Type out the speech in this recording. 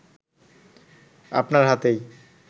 আপনার হাতের